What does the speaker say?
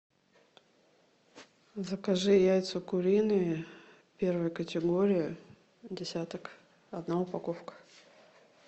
закажи яйца куриные первой категории десяток одна упаковка